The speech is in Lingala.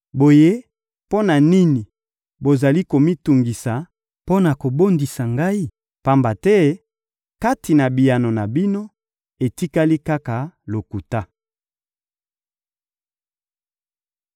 Boye, mpo na nini bozali komitungisa mpo na kobondisa ngai? Pamba te kati na biyano na bino, etikali kaka lokuta.»